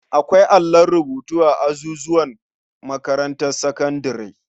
Akwai allon rubutu a azuzuwan makarantar sakandare.